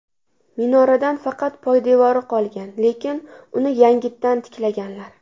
Minoradan faqat poydevori qolgan, lekin uni yangitdan tiklaganlar.